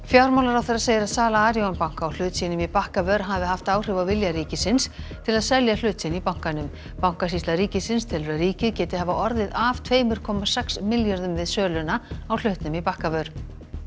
fjármálaráðherra segir að sala Arion banka á hlut sínum í Bakkavör hafi haft áhrif á vilja ríkisins til að selja hlut sinn í bankanum bankasýsla ríkisins telur að ríkið geti hafa orðið af tveimur komma sex milljörðum við söluna á hlutnum í Bakkavör